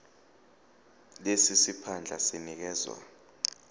lesi siphandla sinikezwa